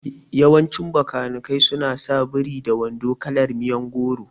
Yawancin Bakanikai su na sa biri da wando kalar miyon goro